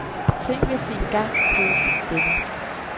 Tænk hvis vi engang blev venner.